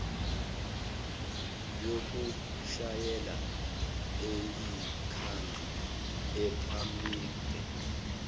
yokushayela eyikhadi iphemithi